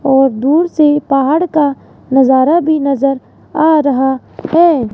और दूर से पहाड़ का नजारा भी नजर आ रहा है।